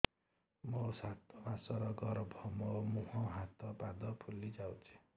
ମୋ ସାତ ମାସର ଗର୍ଭ ମୋ ମୁହଁ ହାତ ପାଦ ଫୁଲି ଯାଉଛି